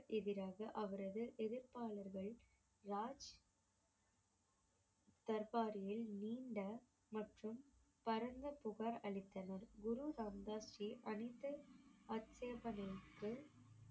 எதிராக அவரது எதிர்ப்பாளர்கள் ராஜ் தர்பாரில் நீண்ட மற்றும் புகார் அளித்தனர் குரு ராமதாஸ் ஜி அனைத்து